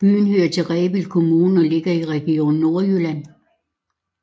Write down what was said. Byen hører til Rebild Kommune og ligger i Region Nordjylland